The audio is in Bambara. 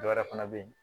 Dɔ wɛrɛ fana be yen